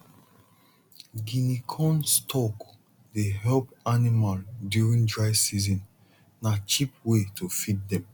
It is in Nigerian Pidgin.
guinea corn stalk dey help animal during dry season na cheap way to feed dem